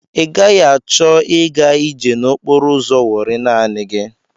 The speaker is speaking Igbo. I gaghị achọ i ga ije n'okporo ụzọ Wọri naanị gị.